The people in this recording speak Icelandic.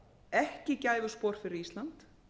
ekki gæfuspor fyrir ísland